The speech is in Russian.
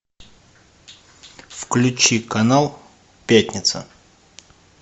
включи канал пятница